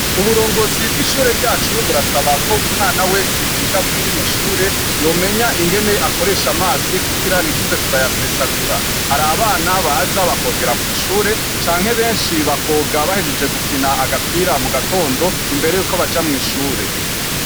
Uburongozi bw'ishure ryacu burasaba ko umwana wese yiga kuri rino shure, yomenya ingene akoresha amazi kugira ntituze turayasesagura. Hari abana baza bakogera kw'ishure, canke benshi bakoga bahejeje gukina agapira mu gatondo, imbere yuko baja mw'ishure.